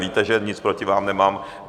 Víte, že nic proti vám nemám.